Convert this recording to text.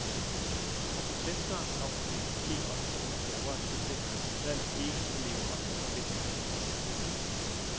Og for svenskeren kommer det måske også som en overraskelse, at han trods alt ikke kan leve op til forventningerne i storklubben.